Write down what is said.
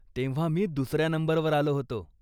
तेव्हा मी दुसऱ्या नंबरवर आलो होतो.